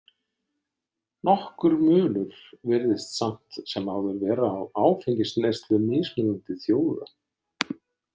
Nokkur munur virðist samt sem áður vera á áfengisneyslu mismunandi þjóða.